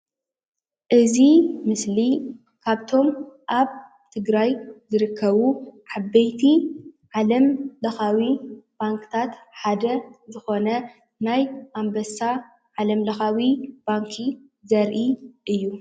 እዚ ምስሊ ካብቶም ኣብ ትግራይ ዝርከቡ ዓበይቲ ዓለምለካዊ ባንክታት ሓደ ዝኾነ ናይ ኣንበሳ ዓለምለካዊ ባንኪ ዘርኢ እዩ።